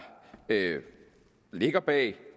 ligger bag